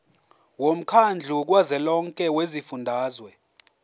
womkhandlu kazwelonke wezifundazwe